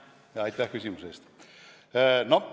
Aitäh küsimuse eest!